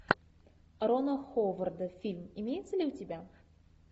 рона ховарда фильм имеется ли у тебя